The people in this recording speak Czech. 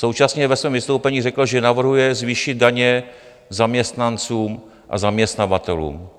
Současně ve svém vystoupení řekl, že navrhuje zvýšit daně zaměstnancům a zaměstnavatelům.